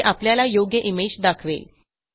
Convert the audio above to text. जे आपल्याला योग्य इमेज दाखवेल